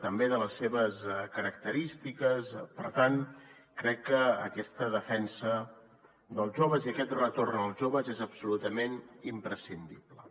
també de les seves característiques per tant crec que aquesta defensa dels joves i aquest retorn als joves és absolutament imprescindible